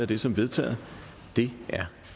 det som vedtaget det er